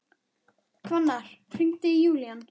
Hvannar, hringdu í Júlían.